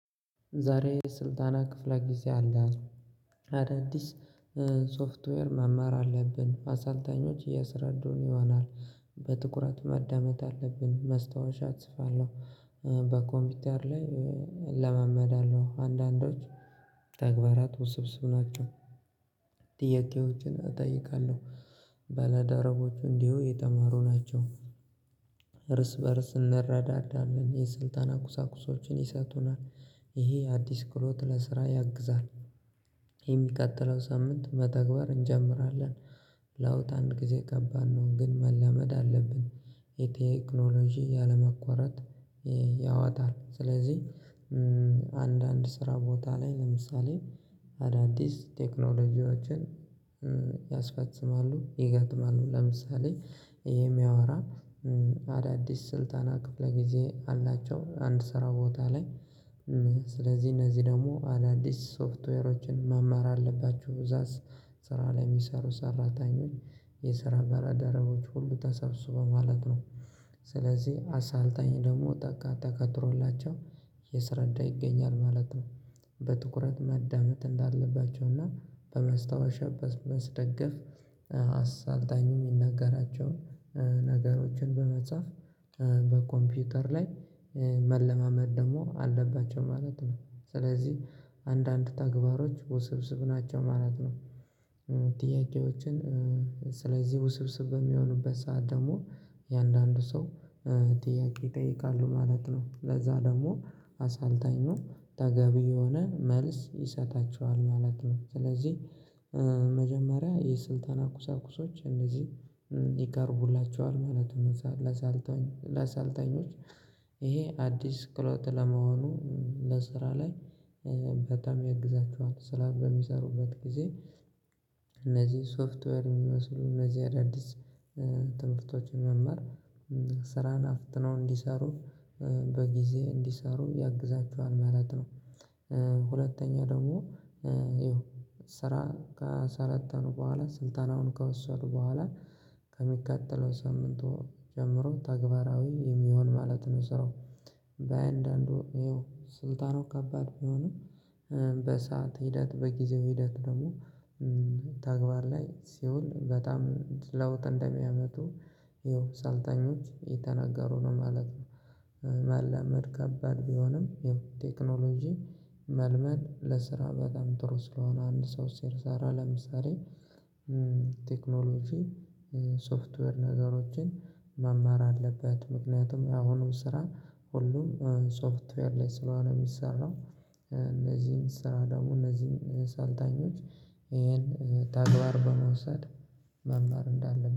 ዛሬ ስልጠና ክፍለ ጊዜ አለን። አዳዲስ ሶፍትዌር መማር አለብን። አሰልጣኞች እያሰረዱን ይሆናል። በትኩረት ማዳመጥ አለብን። ማስታወሻ እጽፋለሁ። በኮምፒውተር ላይ እለማመዳለሁ። አንዳንዶች ተግባራት ውስብስብ ናቸው። ጥያቄዎችን አጠይቃለሁ። ባላደረቦቼ እንዲሁ የተማሩ ናቸው። እርስ በእርስ እንረዳዳለን። የስልጠና ቁሳቁሶችን ይሰጡናል። ይሄ አዲስ ክህሎት ለስራ ያግዛል። የሚቀጥለው ሳምንት መተግበር እንጀምራለን። ለውጥ አንድ ጊዜ ከባድ ነው ግን መልመድ አለብን። የቴክኖሎጂ ያለመቋረጥ ያወጣል። ስለዚህ አንዳንድ ስራ ቦታ ላይ ለምሳሌ አዳዲስ ቴክኖሎጂዎችን ያስፈጽማሉ ይገጥማሉ። ለምሳሌ የሚያወራ አዳዲስ ስልጠና ክፍለ ጊዜ አላቸው። አንድ ስራ ቦታ ላይ ስለዚህ እነዚህ ደግሞ አዳዲስ ሶፍትዌሮችን መማር አለባችሁ በዛ ስራ ላይ የሚሰሩ ሰራተኞች የስራ ባልደረቦች ሁሉ ተሰብስበው ማለት ነው። ስለዚህ አሰልጣኝ ደግሞ ተቀጥሮላቸው እያስረዳ ይገኛል ማለት ነው። በትኩረት ማዳመጥ እንዳለባቸውና በመስታወሻ በማስደገፍ አሰልጣኝ የሚናገራቸውን ነገሮችን በመጻፍ በኮምፒውተር ላይ መለማመድ ደግሞ አለባቸው ማለት ነው። ስለዚህ አንዳንድ ተግባሮች ውስብስብ ናቸው ማለት ነው። ጥያቄዎችን ስለዚህ ውስብስብ በሚሆኑበት ሰዓት ደግሞ እያንዳንዱ ሰው ጥያቄ ይጠይቃሉ ማለት ነው። ለዛ ደግሞ አሰልጣኙ ተገቢ የሆነ መልስ ይሰጣቸዋል ማለት ነው። ስለዚህ መጀመሪያ የስልጠና ቁሳቁሶች እነዚህ ይቀርቡላቸዋል ማለት ነው ለዛ ለሰልጣኝ ለሰልጣኞች ይሄ አዲስ ክህሎት ለመሆኑ ለስራ ላይ በጣም ያግዛቸዋል። ስራ በሚሰሩበት ጊዜ እነዚህ ሶፍትወር የሚወስዱ እነዚህ አዳዲስ ትምህርቶችን መማር ስራን አፍጥነው እንዲሰሩ በጊዜ እንዲሰሩ ያግዛቸዋል ማለት ነው። ሁለተኛ ደግሞ ያው ስራ ከሰለጠኑ በኋላ ስልጠናውን ከወሰዱ በኋላ ከሚቀጥለው ሳምንት ጀምሮ ተግባራዊ የሚሆን ማለት ነው ስራው። በየአንዳንዱ ይኸው ስልጠናው ከባድ ቢሆንም በሰአት ሂደት በጊዜው ሂደት ደግሞ ተግባር ላይ ሲውል በጣም ለውጥ እንደሚያመጡ ይኸው ሰልጣኞች እየተናገሩ ነው ማለት ነው። መልመድ ከባድ ቢሆንም ይኸው ቴክኖሎጂ መልመድ ለስራ በጣም ጥሩ ስለሆነ አንድ ሰው ሲሰራ ለምሳሌ ቴክኖሎጂ ሶፍትዌር ነገሮችን መማር አለበት። ምክንያቱም የአሁኑ ስራ ሁሉም ሶፍትዌር ላይ ስለሆነ የሚሰራው፤ እነዚህን ስራ ደግሞ እነዚህን ሰልጣኞች ይሄን ተግባር በመውሰድ መማር እንዳለብን